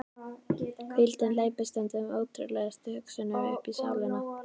Hvíldin hleypir stundum ótrúlegustu hugsunum uppí sálina.